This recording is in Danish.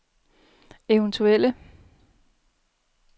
eventuelle